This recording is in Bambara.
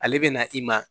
Ale bɛ na i ma